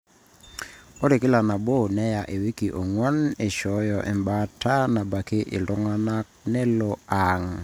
ore kila nabo neya iwikii onw'gan eishooyo embaata nabaki oltung'ani nelo aang